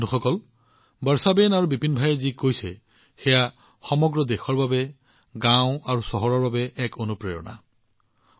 বন্ধুসকল বৰ্ষাবেন আৰু বিপিন ভাইয়ে যি উল্লেখ কৰিছে সেয়া সমগ্ৰ দেশৰ বাবে গাওঁ আৰু চহৰৰ বাবে এক অনুপ্ৰেৰণা স্বৰূপ